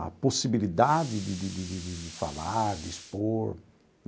a possibilidade de de de de de falar, de expor.